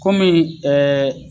Komi